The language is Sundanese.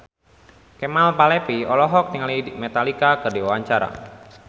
Kemal Palevi olohok ningali Metallica keur diwawancara